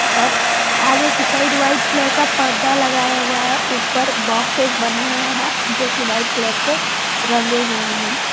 और आगे की साइड वाइट कलर का पर्दा लगाया हुआ है ऊपर बॉक्सेस बने हुए हैं जो की व्हाइट कलर से रंगे हुए हैं।